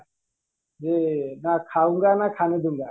ଯେ